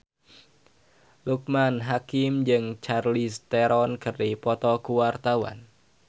Loekman Hakim jeung Charlize Theron keur dipoto ku wartawan